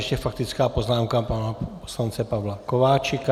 Ještě faktická poznámka pana poslance Pavla Kováčika.